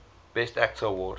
best actor award